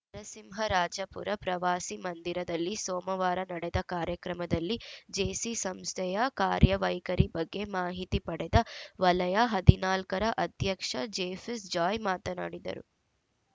ನರಸಿಂಹರಾಜಪುರ ಪ್ರವಾಸಿ ಮಂದಿರದಲ್ಲಿ ಸೋಮವಾರ ನಡೆದ ಕಾರ್ಯಕ್ರಮದಲ್ಲಿ ಜೇಸಿ ಸಂಸ್ಥೆಯ ಕಾರ್ಯವೈಖರಿ ಬಗ್ಗೆ ಮಾಹಿತಿ ಪಡೆದ ವಲಯ ಹದಿನಾಲ್ಕ ರ ಅಧ್ಯಕ್ಷ ಜೇಫಿಸ್ ಜಾಯ್‌ ಮಾತನಾಡಿದರು